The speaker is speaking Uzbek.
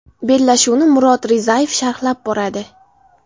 Bellashuvni Murod Rizayev sharhlab boradi.